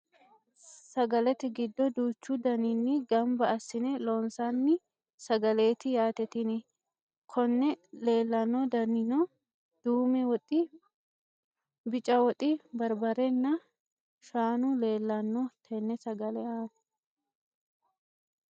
sagalete giddo duuchu daninni gamba assine loonsanni sagaleeti yaate tini, konne leelanno danino duume woxi, bica woxi, barbarenna shaanu leelanno tenne sagale aana.